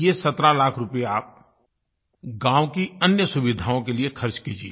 ये 17 लाख रुपये आप गाँव की अन्य सुविधाओं के लिए खर्च कीजिए